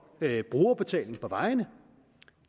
brugerbetaling på vejene